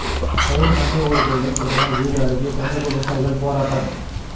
கையில் மண்டை ஓடுகளுடன் பிரதமர் வீடு அருகே தமிழக விவசாயிகள் போராட்டம்